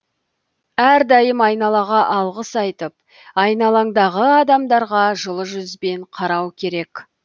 әрдайым айналаға алғыс айтып айналаңдағы адамдарға жылы жүзбен қарау керек